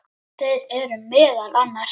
Þeir eru meðal annars